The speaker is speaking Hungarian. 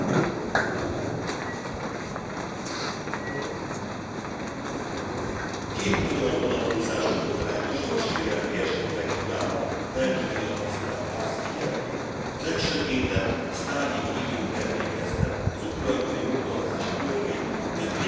Elnök Asszony, két magyar vonatkozású botrányos jogsérelmi esetre kívánom felhívni a Tisztelt Ház figyelmét. A legsötétebb sztálini időkre emlékeztet az ukrajnai oktatási törvény nemrégen megszavazott módosítása,